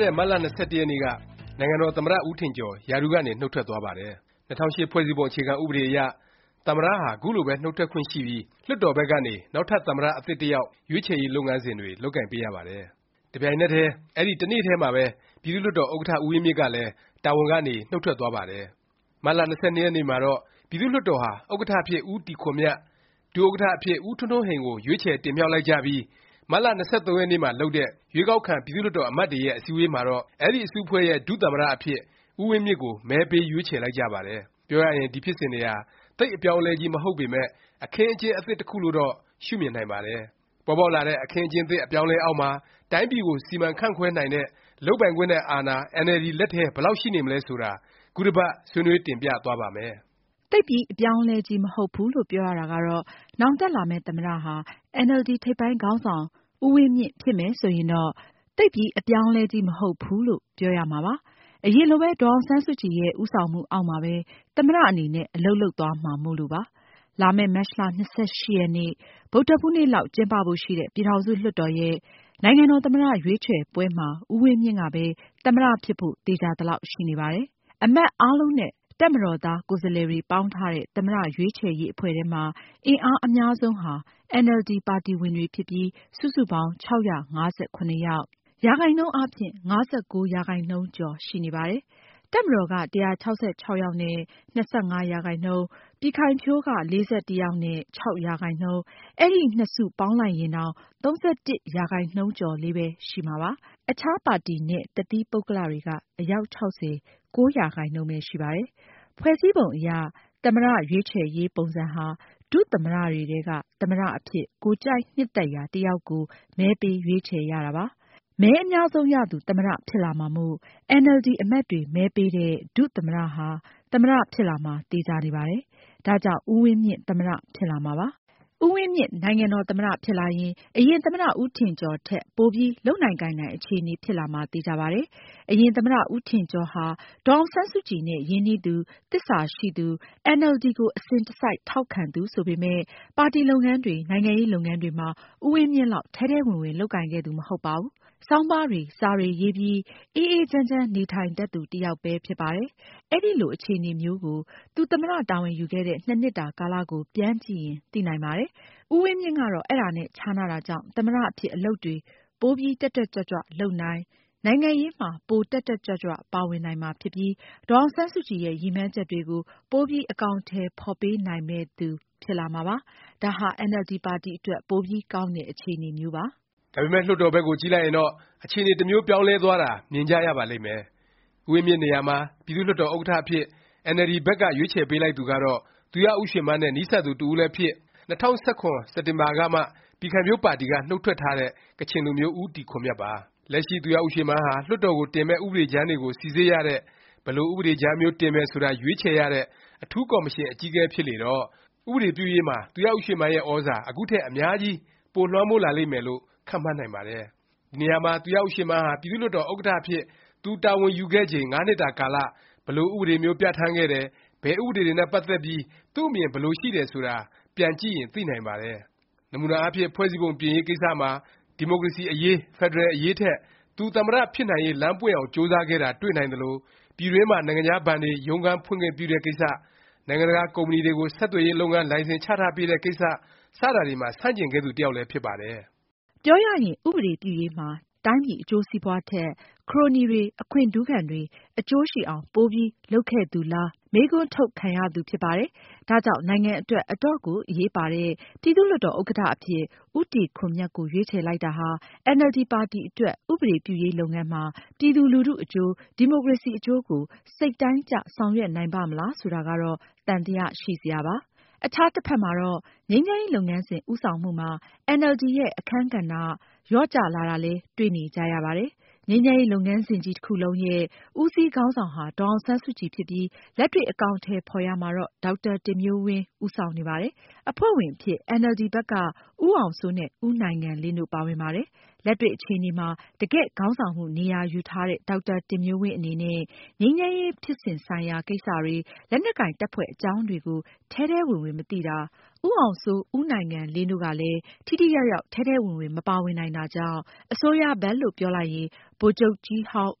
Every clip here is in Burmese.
တဲ့ မတ်လ ၂၁ ရက်နေ့က နိုင်ငံတော်သမ္မတ ဦးထင်ကျော် ရာထူးကနေ နှုတ်ထွက်သွားပါတယ်။ ၂၀၀၈ ဖွဲ့စည်းပုံ အခြေခံ ဥပဒေအရ သမ္မတဟာ ခုလိုပဲ နှုတ်ထွက်ခွင့်ရှိပြီး လွှတ်တော်ဘက်ကနေ နောက်ထပ် သမ္မတ အသစ်တစ်ယောက် ရွေးချယ်ရေး လုပ်ငန်းစဉ်တွေ လုပ်ကိုင်ပေးရပါတယ်။ တစ်ပြိုင်နက်တည်း အဲဒီ တစ်နေ့တည်းမှာပဲ ပြည်သူ့လွှတ်တော်ဥက္ကဌ ဦးဝင်းမြင့်ကလည်း တာဝန်ကနေ နှုတ်ထွက်သွားပါတယ်။ မတ်လ ၂၂ ရက်နေ့မှာတော့ ပြည်သူ့လွှတ်တော်ဟာ ဥက္ကဌ အဖြစ် ဦးတီခွန်မြတ်၊ ဒုဥက္ကဌ အဖြစ် ဦးထွန်းထွန်းဟိန် ကို ရွေးချယ် တင်မြှောက်လိုက်ကြပြီး မတ်လ ၂၃ ရက်နေ့မှာလုပ်တဲ့ ရွေးကောက်ခံ ပြည်သူ့လွှတ်တော် အမတ်တွေရဲ့ အစည်းအဝေးမှာတော့ အဲဒီ အစုအဖွဲ့ရဲ့ ဒုသမ္မတ အဖြစ် ဦးဝင်းမြင့်ကို မဲပေး ရွေးချယ်လိုက်ကြပါတယ်။ ပြောရရင် ဒီ ဖြစ်စဉ်တွေဟာ သိပ် အပြောင်းအလဲကြီး မဟုတ်ပေမယ့် အခင်းအကျင်း အသစ် တစ်ခုလို့တော့ ရှုမြင်နိုင်ပါတယ်။ ပေါ်ပေါက်လာတဲ့ အခင်းအကျင်းသစ် အပြောင်းအလဲ အောက်မှာ တိုင်းပြည်ကို စီမံခန့်ခွဲနိုင်တဲ့၊ လုပ်ပိုင်ခွင့်နဲ့ အာဏာ အင်န်အယ်လ်ဒီ လက်ထဲ ဘယ်လောက် ရှိနေမလဲ ဆိုတာ ခုတစ်ပတ် ဆွေးနွေး တင်ပြသွားပါ့မယ်။ နောင် တက်လာမယ့် သမ္မတဟာ အင်န်အယ်လ်ဒီ ထိပ်ပိုင်းခေါင်းဆောင် ဦးဝင်းမြင့် ဖြစ်မယ်ဆိုယင်တော့ သိပ်ပြီး အပြောင်းအလဲကြီး မဟုတ်ဘူးလို့ ပြောရမှာပါ။ အရင်လိုပဲ ဒေါ်အောင်ဆန်းစုကြည်ရဲ့ ဦးဆောင်မှုအောက်မှာပဲ သမ္မတအနေနဲ့ အလုပ်လုပ်သွားမှာမို့လို့ပါ။ လာမယ့် မတ်လ ၂၈ ရက်နေ့ ဗုဒ္ဓဟူးနေ့လောက် ကျင်းပဖို့ ရှိတဲ့ ပြည်ထောင်စု လွှတ်တော်ရဲ့ နိုင်ငံတော် သမ္မတ ရွေးချယ်ပွဲမှာ ဦးဝင်းမြင့်ကပဲ သမ္မတ ဖြစ်ဖို့ သေခြာသလောက်ရှိနေပါတယ်။ အမတ်အားလုံးနဲ့ တပ်မတော်သား ကိုယ်စားလှယ်တွေ ပေါင်းထားတဲ့ သမ္မတ ရွေးချယ်ရေး အဖွဲ့ထဲမှာ အင်အား အများဆုံးဟာ အင်န်အယ်လ်ဒီ ပါတီဝင်တွေ ဖြစ်ပြီး စုစုပေါင်း ၆၅၇ ယောက်၊ ရာခိုင်နှုန်းအားဖြင့် ၅၉ ရာခိုင်နှုန်းကျော် ရှိနေပါတယ်။ တပ်မတော်က ၁၆၆ ယောက်နဲ့ ၂၅ ရာခိုင်နှုန်း၊ ပြည်ခိုင်ဖြိုးက ၄၁ ယောက်နဲ့ ၆ ရာခိုင်နှုန်း၊ အဲဒီ နှစ်စု ပေါင်းလိုက်ရင်တောင် ၃၁ ရာခိုင်နှုန်းကျော်လေးပဲ ရှိမှာပါ။ အခြား ပါတီနဲ့ တစ်သီးပုဂ္ဂလတွေက အယောက် ၆၀၊ ၉ ရာခိုင်နှုန်းပဲ ရှိပါတယ်။ ဖွဲ့စည်းပုံ အရ သမ္မတ ရွေးချယ်ရေး ပုံစံဟာ ဒုသမ္မတ တွေထဲက သမ္မတ အဖြစ် ကိုယ်ကြိုက်နှစ်သက်ရာ တစ်ယောက်ကို မဲပေးရွေးချယ်ရတာပါ။ မဲအများဆုံးရသူ သမ္မတ ဖြစ်လာမှာမို့ အင်န်အယ်လ်ဒီ အမတ်တွေ မဲပေးတဲ့ ဒုသမ္မတ ဟာ သမ္မတ ဖြစ်လာမှာ သေခြာနေပါတယ်။ ဒါကြောင့် ဦးဝင်းမြင့် သမ္မတ ဖြစ်လာမှာပါ။ ဦးဝင်းမြင့် နိုင်ငံတော် သမ္မတ ဖြစ်လာရင် အရင် သမ္မတ ဦးထင်ကျော်ထက် ပိုပြီး လုပ်နိုင်၊ ကိုင်နိုင် အခြေအနေ ဖြစ်လာမှာ သေခြာပါတယ်။ အရင် သမ္မတ ဦးထင်ကျော်ဟာ ဒေါ်အောင်ဆန်းစုကြည် နဲ့ ရင်းနှီးသူ၊ သစ္စာရှိသူ၊ အင်န်အယ်လ်ဒီကို အစဉ်တစိုက် ထောက်ခံသူ ဆိုပေမယ့် ပါတီလုပ်ငန်းတွေ၊ နိုင်ငံရေး လုပ်ငန်းတွေမှာ ဦးဝင်းမြင့်လောက် ထဲထဲဝင်ဝင် လုပ်ကိုင်ခဲ့သူ မဟုတ်ပါဘူး။ ဆောင်းပါးတွေ စာတွေ ရေးပြီး အေးအေးချမ်းချမ်း နေထိုင်တတ်သူ တစ်ယောက်ပဲ ဖြစ်ပါတယ်။ အဲလို အခြေအနေမျိုးကို သူ သမ္မတ တာဝန်ယူခဲ့တဲ့ ၂ နှစ်တာကာလ ကို ပြန်ကြည့်ရင် သိနိုင်ပါတယ်။ ဦးဝင်းမြင့်ကတော့ အဲဒါနဲ့ ခြားနားတာကြောင့် သမ္မတ အဖြစ် အလုပ်တွေ ပို တက်တက်ကြွကြွ လုပ်နိုင်၊ နိုင်ငံရေးမှာ ပို တက်တက်ကြွကြွ ပါဝင်နိုင်မှာ ဖြစ်ပြီး၊ ဒေါ်အောင်ဆန်းစုကြည်ရဲ့ ရည်မှန်းချက်တွေကို ပို အကောင်အထည် ဖော်ပေးနိုင်မယ့်သူ ဖြစ်လာမှာပါ။ ဒါဟာ အင်န်အယ်လ်ဒီ ပါတီအတွက် ပိုပြီး ကောင်းတဲ့ အခြေအနေမျိုးပါ။ ဒါပေမယ့် လွှတ်တော်ဘက်ကို ကြည့်လိုက်ရင်တော့ အခြေအနေ တစ်မျိုး ပြောင်းလဲသွားတာ မြင်ကြရပါလိမ့်မယ်။ ဦးဝင်းမြင့်နေရာမှာ ပြည်သူ့လွှတ်တော် ဥက္ကဌ အဖြစ် အင်န်အယ်လ်ဒီ ဘက်က ရွေးချယ်ပေးလိုက်သူကတော့ သူရဦးရွှေမန်းနဲ့ နီးစပ်သူ တစ်ဦးလည်းဖြစ်၊ ၂၀၁၇ စက်တင်ဘာကမှ ပြည်ခိုင်ဖြိုးပါတီက နှုတ်ထွက်ထားတဲ့ ကချင်လူမျိုး ဦးတီခွန်မြတ်ပါ။ လက်ရှိ သူရဦးရွှေမန်းဟာ လွှတ်တော်ကိုတင်မယ့် ဥပဒေကြမ်းတွေကို စိစစ်ရတဲ့၊ ဘယ်လို ဥပဒေကြမ်းမျိုး တင်မယ်ဆိုတာ ရွေးချယ်ရတဲ့ အထူးကော်မရှင် အကြီးအကဲ ဖြစ်လေတော့ ဥပဒေပြုရေးမှာ သူရဦးရွှေမန်းရဲ့ သြဇာ အခုထက် အများကြီး ပိုလွှမ်းမိုးလာလိမ့်မယ်လို့ ခန့်မှန်းနိုင်ပါတယ်။ ဒီနေရာမှာ သူရဦးရွှေမန်းဟာ ပြည်သူ့လွှတ်တော် ဥက္ကဌ အဖြစ် သူတာဝန်ယူခဲ့ချိန် ၅ နှစ်တာကာလ ဘယ်လို ဥပဒေမျိုး ပြဌာန်းခဲ့တယ်၊ ဘယ်ဥပဒေတွေနဲ့ ပတ်သက်ပြီး သူ့အမြင် ဘယ်လိုရှိတယ် ဆိုတာ ပြန်ကြည့်ရင် သိနိုင်ပါတယ်။ နမူနာအားဖြင့် ဖွဲ့စည်းပုံ ပြင်ရေး ကိစ္စမှာ ဒီမိုကရေစီ အရေး၊ ဖက်ဒရယ် အရေးထက် သူ သမ္မတ ဖြစ်နိုင်ရေး လမ်းပွင့်အောင် ကြိုးစားခဲ့တာ တွေ့နိုင်သလို၊ ပြည်တွင်းမှာ နိုင်ငံခြား ဘဏ်တွေ ရုံးခန်း ဖွင့်ခွင့်ပြုတဲ့ ကိစ္စ၊ နိုင်ငံတကာ ကုမ္ပဏီတွေကို ဆက်သွယ်ရေး လုပ်ငန်း လိုင်စင်ချထားပေးတဲ့ ကိစ္စ စတာတွေမှာ ဆန့်ကျင်ခဲ့သူ တစ်ယောက်လည်း ဖြစ်ပါတယ်။ ပြောရရင် ဥပဒေပြုရေးမှာ တိုင်းပြည် အကျိုးစီးပွားထက် ခရိုနီတွေ၊ အခွင့်ထူးခံတွေ အကျိုးရှိအောင် ပိုပြီး လုပ်ခဲ့သူလား မေးခွန်းထုတ် ခံရသူ ဖြစ်ပါတယ်။ ဒါကြောင့် နိုင်ငံအတွက် အတော့်ကို အရေးပါတဲ့ ပြည်သူ့လွှတ်တော် ဥက္ကဌ အဖြစ် ဦးတီခွန်မြတ်ကို ရွေးချယ်လိုက်တာဟာ၊ အင်န်အယ်လ်ဒီ ပါတီ အတွက် ဥပဒေပြုရေး လုပ်ငန်းမှာ ပြည်သူလူထုအကျိုး၊ ဒီမိုကရေစီ အကျိုးကို စိတ်တိုင်းကျ ဆောင်ရွက်နိုင်ပါ့မလား ဆိုတာကတော့ သံသယ ရှိစရာပါ။ အခြားတစ်ဖက်မှာတော့ ငြိမ်းချမ်းရေး လုပ်ငန်းစဉ် ဦးဆောင်မှုမှာ အင်န်အယ်လ်ဒီ ရဲ့ အခန်းကဏ္ဍ လျော့ကျ လာတာလည်း တွေ့နေကြရပါတယ်။ ငြိမ်းချမ်းရေး လုပ်ငန်းစဉ်ကြီးတစ်ခုလုံးရဲ့ ဦးစီးခေါင်းဆောင်ဟာ ဒေါ်အောင်ဆန်းစုကြည် ဖြစ်ပြီး လက်တွေ့ အကောင်အထည် ဖော်ရာမှာတော့ ဒေါက်တာ တင်မျိုးဝင်း ဦးဆောင်နေပါတယ်။ အဖွဲ့ဝင်အဖြစ် အင်န်အယ်လ်ဒီ ဘက်က ဦးအောင်စိုးနဲ့ ဦးနိုင်ငံလင်းတို့ ပါဝင်ပါတယ်။ လက်တွေ့အခြေအနေမှာ တကယ်ခေါင်းဆောင်မှု နေရာယူထားတဲ့ ဒေါက်တာတင်မျိုးဝင်း အနေနဲ့ ငြိမ်းချမ်းရေး ဖြစ်စဉ်ဆိုင်ရာ ကိစ္စတွေ၊ လက်နက်ကိုင် တပ်ဖွဲ့အကြောင်းတွေကို ထဲထဲဝင်ဝင် မသိတာ၊ ဦးအောင်စိုး၊ ဦးနိုင်ငံလင်းတို့ကလည်း ထိထိရောက်ရောက် ထဲထဲဝင်ဝင် မပါဝင်နိုင်တာကြောင့် အစိုးရဘက်လို့ ပြောလိုက်ရင် ဗိုလ်ချုပ်ကြီးဟောင်း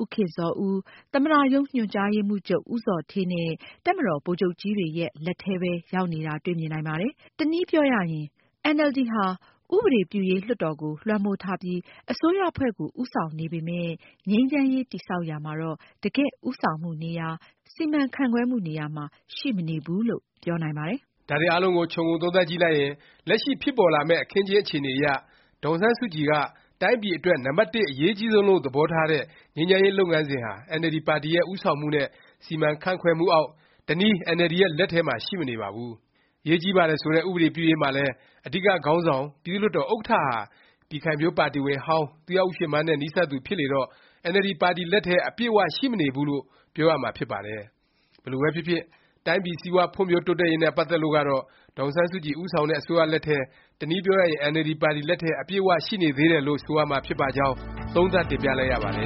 ဦးခင်ဇော်ဦး၊ သမ္မတရုံး ညွှန်ကြားရေးမှူးချုပ် ဦးဇော်ဌေးနဲ့ တပ်မတော် ဗိုလ်ချုပ်ကြီးတွေရဲ့ လက်ထဲပဲ ရောက်နေတာ တွေ့မြင်နိုင်ပါတယ်။ တစ်နည်းပြောရရင် အင်န်အယ်လ်ဒီ ဟာ ဥပဒေပြုရေး လွှတ်တော်ကို လွှမ်းမိုးထားပြီး အစိုးရအဖွဲ့ကို ဦးဆောင်နေပေမယ့် ငြိမ်းချမ်းရေး တည်ဆောက်ရာမှာတော့ တကယ့် ဦးဆောင်မှု နေရာ၊ စီမံခန့်ခွဲမှု နေရာမှာ ရှိမနေဘူး လို့ ပြောနိုင်ပါတယ်။ ဒါတွေအားလုံးကို ခြုံငုံသုံးသပ်ကြည့်လိုက်ရင် လက်ရှိ ဖြစ်ပေါ်လာမယ့် အခင်းအကျင်း အခြေအနေအရ ဒေါ်အောင်ဆန်းစုကြည်က တိုင်းပြည် အတွက် နံပတ်တစ် အရေးအကြီးဆုံးလို့ သဘောထားတဲ့ ငြိမ်းချမ်းရေး လုပ်ငန်းစဉ်ဟာ အင်န်အယ်လ်ဒီ ပါတီရဲ့ ဦးဆောင်မှုနဲ့ စီမံခန့်ခွဲမှုအောက်၊ တနည်း အင်န်အယ်လ်ဒီ ရဲ့ လက်ထဲမှာ ရှိမနေပါဘူး။ အရေးကြီးပါတယ် ဆိုတဲ့ ဥပဒေပြုရေးမှာလည်း အဓိက ခေါင်းဆောင် ပြည်သူ့လွှတ်တော် ဥက္ကဌဟာ ပြည်ခိုင်ဖြိုးပါတီဝင်ဟောင်း၊ သူရဦးရွှေမန်းနဲ့ နီးစပ်သူဖြစ်လေတော့ အင်န်အယ်လ်ဒီ ပါတီ လက်ထဲ အပြည့်အ၀ ရှိမနေဘူးလို့ ပြောရမှာ ဖြစ်ပါတယ်။ ဘယ်လိုပဲဖြစ်ဖြစ် တိုင်းပြည် စီးပွားဖွံ့ဖြိုးတိုးတက်ရေးနဲ့ ပတ်သက်လို့ကတော့ ဒေါ်အောင်ဆန်းစုကြည် ဦးဆောင်တဲ့ အစိုးရလက်ထဲ၊ တစ်နည်းပြောရရင် အင်န်အယ်လ်ဒီ ပါတီ လက်ထဲ အပြည့်အ၀ ရှိနေသေးတယ်လို့ ဆိုရမှာ ဖြစ်ပါကြောင်း သုံးသပ်တင်ပြလိုက်ရပါတယ